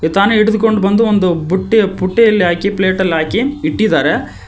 ತಾನೆ ಹಿಡಿದುಕೊಂಡು ಬಂದು ಒಂದು ಬುಟ್ಟಿ ಪುಟ್ಟಿಯಲ್ಲಿ ಹಾಕಿ ಪ್ಲೇಟ್ ಅಲ್ಲಿ ಹಾಕಿ ಇಟ್ಟಿದ್ದಾರೆ.